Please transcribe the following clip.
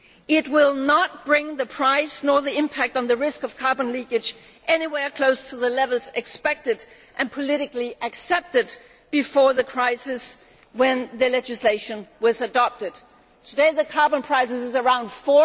It will not bring the price or the impact on the risk of carbon leakage anywhere close to the levels expected and politically accepted before the crisis, when the legislation was adopted. Today the carbon price is around EUR